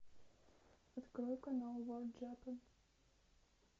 открой канал ворлд джапан